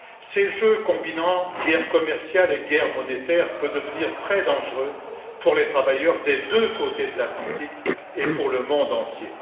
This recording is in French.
Ces jeux combinant guerre commerciale et guerre monétaire peuvent devenir très dangereux pour les travailleurs des deux côtés de l'Atlantique et pour le monde entier.